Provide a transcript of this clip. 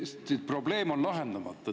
Aga probleem on lahendamata.